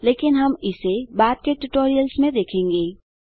लेकिन हम इसे बाद के ट्यूटोरियल्स में देखेंगे